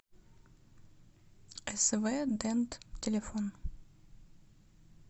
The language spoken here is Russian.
св дент телефон